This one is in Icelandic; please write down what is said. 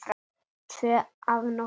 Tvö að nóttu